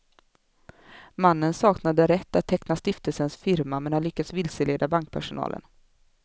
Mannen saknade rätt att teckna stiftelsens firma men har lyckats vilseleda bankpersonalen.